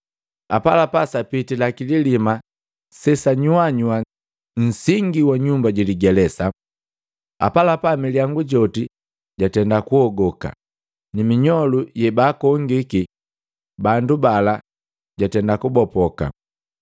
Apalapa sapitila kililima sesanyuanyua nsingi wa nyumba jiligelesa. Apalapa milyangu yoti yatenda kuhogoka ni minyolu yebaakongi bandu bala gatenda kubopoka.